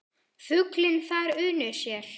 Fuglinn þar unir sér.